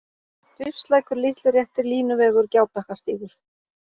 Rifslækur, Litluréttir, Línuvegur, Gjábakkastígur